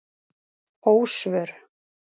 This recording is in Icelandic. Ósvör